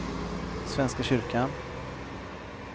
Svenska Kyrkan